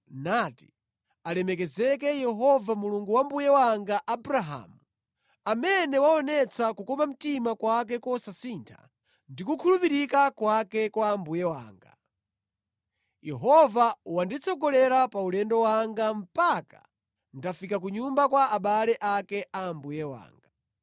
nati, “Alemekezeke Yehova, Mulungu wa mbuye wanga Abrahamu, amene waonetsa kukoma mtima kwake kosasintha ndi kukhulupirika kwake kwa mbuye wanga. Yehova wanditsogolera pa ulendo wanga mpaka ndafika ku nyumba kwa abale ake a mbuye wanga.”